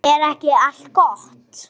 Byltum okkur báðar í einu.